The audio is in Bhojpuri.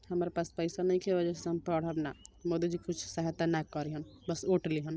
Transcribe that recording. हमरा पास पईसा नइखे ए वजह से हम पढब ना। मधू जी कुछ सहायता ना करिहन बस ओट लिहन।